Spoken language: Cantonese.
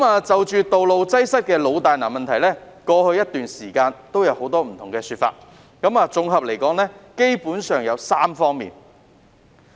就道路擠塞的老大難問題，過去一段時間也有不同的說法，綜合而言基本上有3方面。